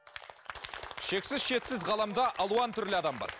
шексіз шетсіз ғаламда алуан түрлі адам бар